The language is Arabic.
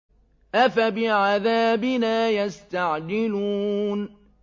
أَفَبِعَذَابِنَا يَسْتَعْجِلُونَ